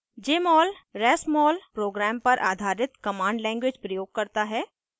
jmol rasmol program पर आधारित command language प्रयोग करता है